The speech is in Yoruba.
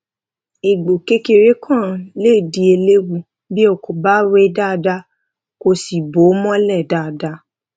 egbò kékeré kan lè di eléwu bí o kò bá wẹ ó dáadáa kó o sì bò ó mólè dáadáa